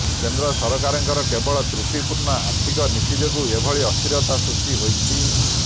କେନ୍ଦ୍ର ସରକାରଙ୍କର କେବଳ ତ୍ରୁଟିପୂର୍ଣ୍ଣ ଆର୍ଥିକ ନୀତି ଯୋଗୁଁ ଏଭଳି ଅସ୍ଥିରତା ସୃଷ୍ଟି ହୋଇଛି